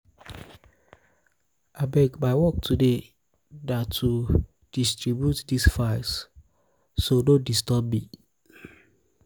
abeg my work today na to distribute dis files so files so no disturb me